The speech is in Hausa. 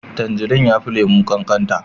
Tanjirine ya fi lemu kankata